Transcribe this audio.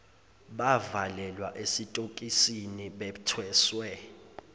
bavalelwa esitokisini bethweswe